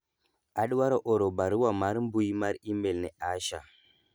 adwaro oro barua mar mbui mar email ne Asha